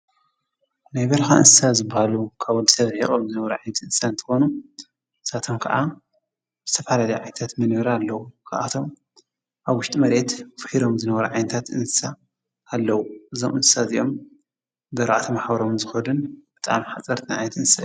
ናይ በረካ እንስሳ ዝብሃሉ ካብ ወዲሰብ ርሒቆም ዝነብሩ ዓይነት እንስሳ እንትኮኑ ንሳቶም ከዓ ዝተፈላለዩ ዓይነታት መንበሪ ኣለዎም ፤ ካብቶም ኣብ ዉሽጢ መሬት ፊሕሮም ዝነብሩ ዓይነታት እንስሳ ኣለዉ፤ እዞም እንስሳ እዚኦም ብኣርባዕተ መሓዉሮም ዝከዱን ብጣዕሚ ሓጸርቲ ዓይነታት እንስሳ እዮም።